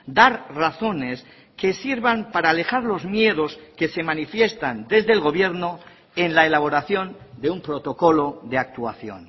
dar razones que sirvan para alejar los miedos que se manifiestan desde el gobierno en la elaboración de un protocolo de actuación